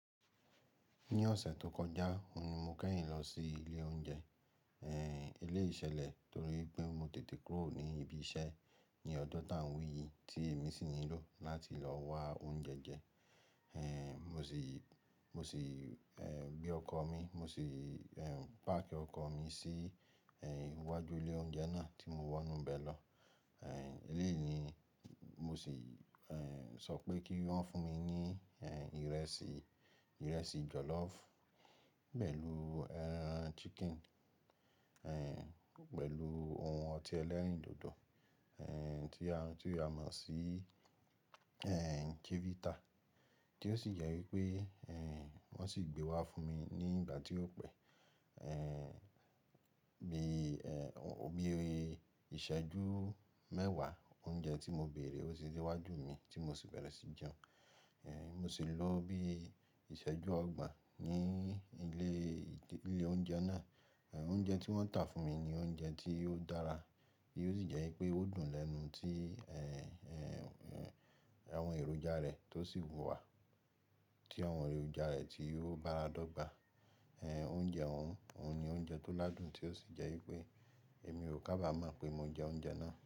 Ní ọ̀sẹ̀ tó kọjá, òun ni mo kẹ́yìn lọ sí ilé oúnjẹ, eléyi ṣẹ̀lẹ̀ torí pé mo tètè kúrò ní ibi iṣẹ́ ní ọdún tán wí yìí tí èmi sì ń lò láti lọ wa oúnjẹ jẹ. Mo sì, mo sì, gbe ọkọ̀ mi, mo sì, páàkì ọkọ̀ mi sí, iwájú ilé oúnjẹ náà tí mo wọ inú bẹ̀ lọ. Eléyí ni mo sì sọ pé kí wọ́n fún mi ní, ìrẹsì, ìrẹsì jọ̀lọ́ọ̀fù pẹ̀lú, eran chicken, pẹ̀lú ohun ọtí ẹlẹ́rìndòdò, tí a, tí a mọ̀ sí Chivita, tí ó sì jẹ́ wípé, ehn, wón sì gbé wá fún mi ní ìgbà tí ó pẹ́. Bí i ìṣẹ́jú mẹ́wàá, oúnjẹ tí mo bèèrè ó tì de wá wájú mi tí mo sì bẹ́rẹ̀ sí jẹun. Mo sì lò ó bí ìṣẹ́jú ọgbọ̀n ní ilé, ilé oúnjẹ náà. Oúnjẹ tí wọ́n tà fún mi ni oúnjẹ tí ó dára, tí ó sì jẹ́ wípé ó dùn lẹ́nu tí àwọn èròjà rẹ̀ tó sì wù wá. Tí àwọn èròjà rẹ̀ tí ó báradọ́gba. Oúnjẹ òun ni oúnjẹ tó ládùn tí ó sì jẹ́ wípé èmi kò kábàámọ̀ pé mo jẹ oúnjẹ náà.